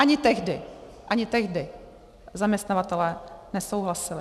Ani tehdy, ani tehdy zaměstnavatelé nesouhlasili.